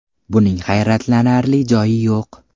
Buning hayratlanarli joyi yo‘q.